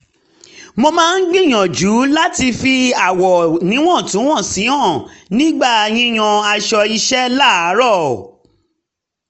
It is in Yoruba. mo máa ń gbìyànjú láti fi àwọ̀ níwọ̀ntúnwọ̀nsì hàn nígbà yíyan aṣọ iṣẹ́ láàárọ̀